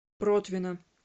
протвино